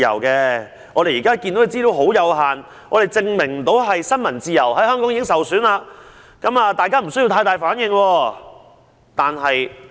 他們指出，目前的資料十分有限，不足以證明香港的新聞自由已經受損，呼籲大家不用反應過大。